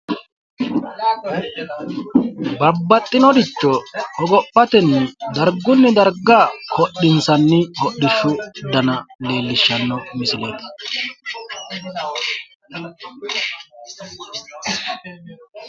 Babbaxxinoricho hogophatenni darggunni dargga hodhinssanni hodhishshu dana leellishshanno misileeti.